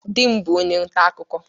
Di m bụ onye nta akụkụ.